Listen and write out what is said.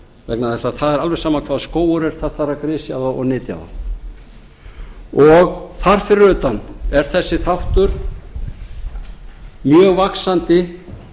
vegna þess að það er alveg sama hvaða skógur er það þarf að grisja þá og nytja þá og þar fyrir utan er þessi þáttur mjög vaxandi